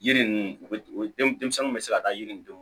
Yiri ninnu u bɛ den denmisɛnninw bɛ se ka taa yiridenw